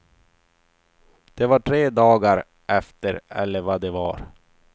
Det var tre dagar efter eller vad det var.